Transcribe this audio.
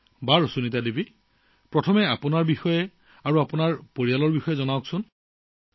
বাৰু সুনীতা জী প্ৰথমে মই আপোনাৰ বিষয়ে আপোনাৰ পৰিয়ালৰ বিষয়ে জানিব বিচাৰিম